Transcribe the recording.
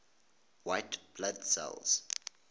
white blood cells